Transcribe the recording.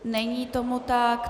Není tomu tak.